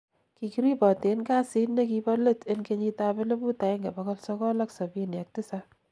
kikiriboten casit nekibolet en 1977